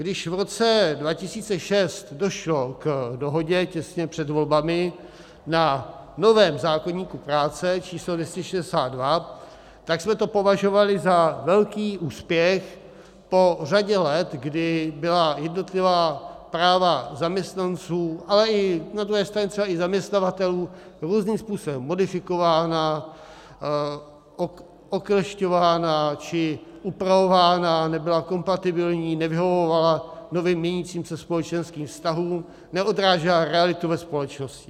Když v roce 2006 došlo k dohodě těsně před volbami na novém zákoníku práce číslo 262, tak jsme to považovali za velký úspěch po řadě let, kdy byla jednotlivá práva zaměstnanců, ale na druhé straně třeba i zaměstnavatelů různým způsobem modifikována, oklešťována či upravována, nebyla kompatibilní, nevyhovovala novým, měnícím se společenským vztahům, neodrážela realitu ve společnosti.